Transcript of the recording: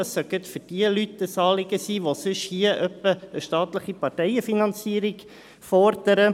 Dies dürfte denjenigen Leuten ein Anliegen sein, die sonst etwa eine staatliche Parteienfinanzierung fordern.